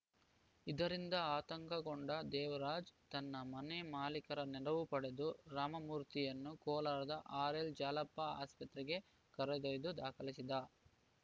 ಇದರಿಂದ ಆತಂಕಗೊಂಡ ದೇವರಾಜ್‌ ತನ್ನ ಮನೆ ಮಾಲೀಕರ ನೆರವು ಪಡೆದು ರಾಮಮೂರ್ತಿಯನ್ನು ಕೋಲಾರದ ಆರ್‌ಎಲ್‌ಜಾಲಪ್ಪ ಆಸ್ಪತ್ರೆಗೆ ಕರೆದೊಯ್ದು ದಾಖಲಿಸಿದ